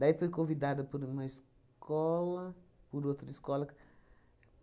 Daí foi convidada por uma escola, por outra escola.